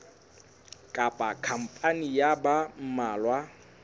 kapa khampani ya ba mmalwa